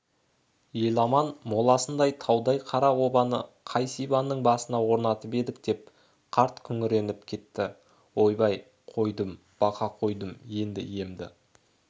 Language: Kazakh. еламанның моласындай таудай қара обаны қай сибанның басына орнатып едік деп қарт күңіреніп кетті ойбай қойдым бақа қойдым енді иемді